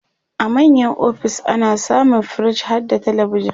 a manya ofis ana samun firij harda telebijan